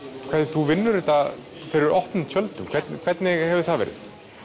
þú vinnur þetta fyrir opnum tjöldum hvernig hvernig hefur það verið